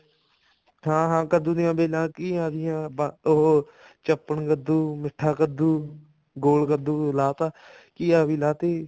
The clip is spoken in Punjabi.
ਹਾਂ ਹਾਂ ਕੱਦੂ ਦੀਆਂ ਬੇਲਾਂ ਘੀਆ ਦੀਆਂ ਉਹ ਚੱਪਣ ਕੱਦੂ ਮਿੱਠਾ ਕੱਦੂ ਗੋਲ ਕੱਦੂ ਲਾ ਤਾ ਘੀਆ ਵੀ ਲਾ ਤੀ